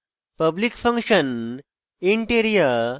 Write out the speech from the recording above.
public function int area int